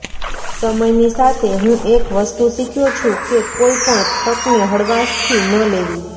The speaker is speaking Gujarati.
સમયની સાથે હું એક વસ્તુ શીખ્યો છું કે કોઈ પણ તકને હળવાશથી ન લેવી